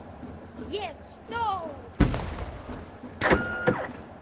Ég er stór.